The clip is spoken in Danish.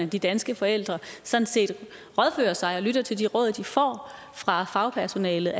de danske forældre sådan set rådfører sig og lytter til de råd de får fra fagpersonalet